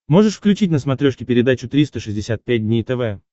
можешь включить на смотрешке передачу триста шестьдесят пять дней тв